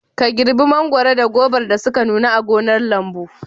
Ka girbe mangwaro da gobar da suka nuna a gonar lambu.